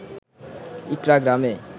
ইকড়া গ্রামে